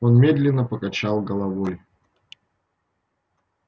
он медленно покачал головой